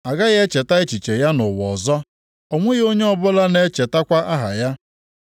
A gaghị echeta echiche ya nʼụwa ọzọ, o nweghị onye ọbụla na-echetakwa aha ya.